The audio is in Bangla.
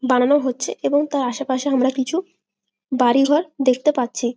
বানানো হচ্ছে এবং তার আশেপাশে আমরা কিছু বাড়িঘর দেখতে পাচ্ছি।